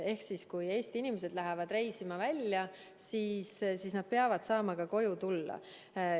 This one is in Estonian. Ehk siis, kui Eesti inimesed lähevad reisima, siis nad peavad saama koju tagasi tulla.